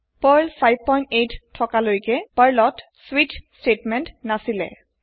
Perl 58 থকা লৈকে Perl ত স্বিচ স্টেতমেন্ট নাছিল